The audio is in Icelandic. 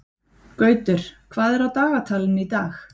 Gautur, hvað er á dagatalinu í dag?